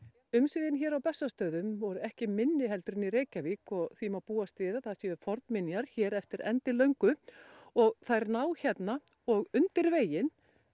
umsvifin hér á Bessastöðum voru ekki minni en í Reykjavík og því má búast við að það séu fornminjar hér eftir endilöngu og þær ná hérna og undir veginn